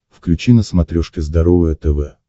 включи на смотрешке здоровое тв